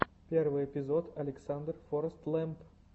первый эпизод александр форэстлэмп